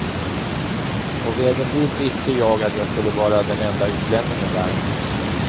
På vägen dit visste jag att jag skulle vara den enda utlänningen där.